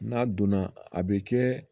N'a donna a bɛ kɛ